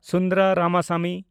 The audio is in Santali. ᱥᱩᱱᱫᱚᱨᱟ ᱨᱟᱢᱟᱥᱟᱢᱤ